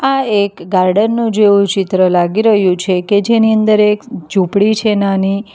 આ એક ગાર્ડન નો જેવું ચિત્ર લાગી રહ્યું છે કે જેની અંદર એક ઝૂંપડી છે નાની.